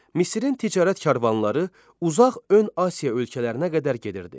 Misrin ticarət karvanları uzaq ön Asiya ölkələrinə qədər gedirdi.